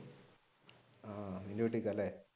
ആഹ് നിന്റെ വീട്ടിൽ നിക്കാമല്ലേ